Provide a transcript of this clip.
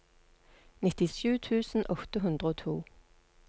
nittisju tusen åtte hundre og to